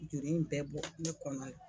Juru in bɛɛ bɔ ne kɔnɔ la